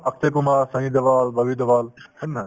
অক্ষয় কুমাৰ, ছানী দেওল, ববী দেওল হয় নে নহয়